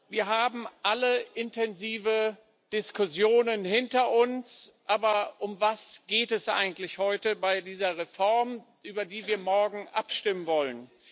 Wir haben alle intensive Diskussionen hinter uns, aber um was geht es eigentlich heute bei dieser Reform, über die wir morgen abstimmen wollen?